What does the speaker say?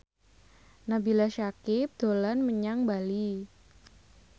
Nabila Syakieb dolan menyang Bali